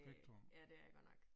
Øh ja det er jeg godt nok